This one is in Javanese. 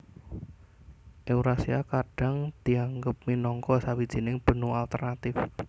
Eurasia kadhang dianggep minangka sawijining benua alternatif